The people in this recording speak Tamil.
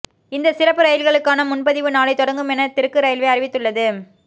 இந்த சிறப்பு ரயில்களுக்கான முன்பதிவு நாளை தொடங்கும் என தெற்கு ரயில்வே அறிவித்துள்ளது